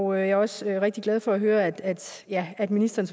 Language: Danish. og jeg er også rigtig glad for at høre at at ministeren